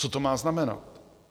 Co to má znamenat?